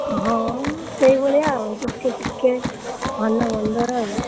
ହଁ ସେଇଭଳିଆ ଆଉ ଦୁଃଖେ ସୁଖେ ଭଲ ମନ୍ଦରେ ଆଉ।